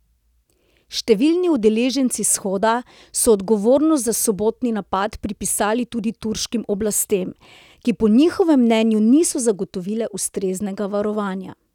Številni udeleženci shoda so odgovornost za sobotni napad pripisali tudi turškim oblastem, ki po njihovem mnenju niso zagotovile ustreznega varovanja.